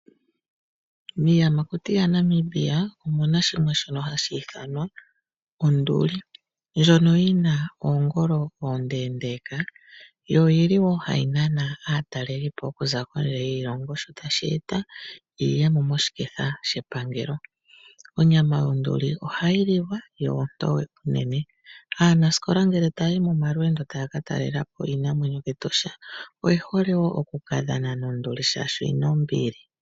Miiyamakuti yaNamibia omuna shimwe shono hashi ithanwa onduli, ndjono yi na oongolo oonde, yo oyi li wo hayi nana aatalelipo okuza kondje yiilongo sho tashi eta iiyemo moshiketha shepangelo. Onyama yonduli ohayi liwa yo ontoye unene. Aanasikola ngele taya yi momalweendo taya ka talela po iinamwenyo kEtosha oye hole oku ka dhana nonduli oshoka oyi na ombili.